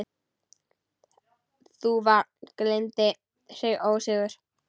Þúfa gleypti sinn ósigur.